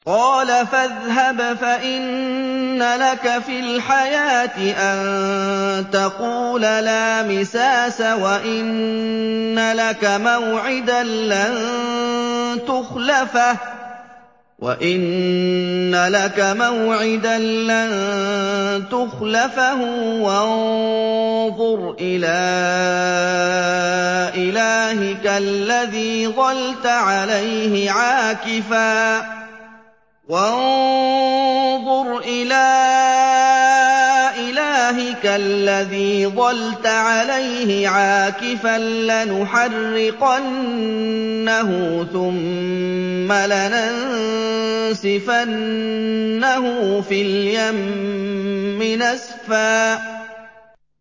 قَالَ فَاذْهَبْ فَإِنَّ لَكَ فِي الْحَيَاةِ أَن تَقُولَ لَا مِسَاسَ ۖ وَإِنَّ لَكَ مَوْعِدًا لَّن تُخْلَفَهُ ۖ وَانظُرْ إِلَىٰ إِلَٰهِكَ الَّذِي ظَلْتَ عَلَيْهِ عَاكِفًا ۖ لَّنُحَرِّقَنَّهُ ثُمَّ لَنَنسِفَنَّهُ فِي الْيَمِّ نَسْفًا